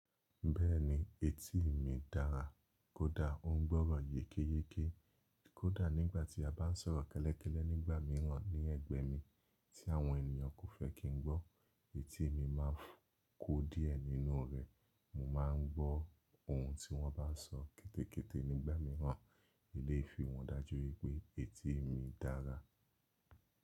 Bẹ́ẹ̀ni, etí mi dára kódà ó ń gbọ́ràn yékéyéké. Kódà nígbàtí a bá ń sọ̀rọ̀ kẹ́lẹ́kẹ́lẹ́ nígbà mìíràn ní ẹ̀gbẹ́ mi tí àwọn ènìyàn kò fẹ́ kí n gbọ́, etí mi máa ń kó díẹ̀ nínú ọ̀ro ẹ́. Mo máa ń gbọ́ ohun tí wọ́n bá sọ kẹ́tẹ́kẹ́tẹ́ nígbà mìíràn. Eléyi fi han dáju wípé etí mi dára.